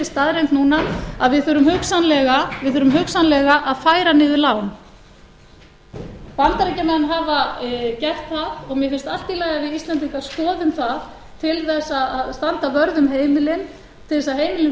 staðreynd núna að við þurfum hugsanlega að færa niður lán bandaríkjamenn hafa gert það og mér finnst allt í lagi að við íslendingar skoðum það til þess að standa vörð um heimilin til þess að heimilin